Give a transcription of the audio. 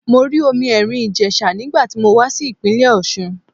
Mo rí omi Èrìn Ìjèsà nígbà tí mo wá sí ìpínlẹ̀ Òsun